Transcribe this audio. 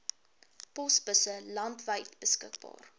posbusse landwyd beskikbaar